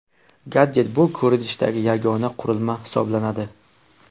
Gadjet bu ko‘rinishdagi yagona qurilma hisoblanadi.